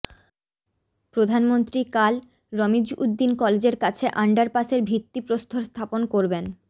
প্রধানমন্ত্রী কাল রমিজ উদ্দিন কলেজের কাছে আন্ডারপাসের ভিত্তিপ্রস্তর স্থাপন করবেন